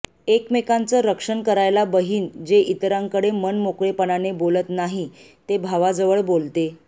एकमेकांचं रक्षण करायला बहीण जे इतरांकडे मनमोकळेपणाने बोलत नाही ते भावाजवळ बोलते